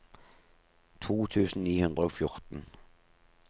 to tusen ni hundre og fjorten